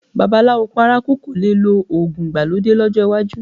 Babaláwo paraku kò le lo òògùn ìgbàlódé lọ́jọ́ iwájú